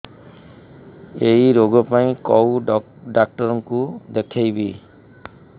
ଏଇ ରୋଗ ପାଇଁ କଉ ଡ଼ାକ୍ତର ଙ୍କୁ ଦେଖେଇବି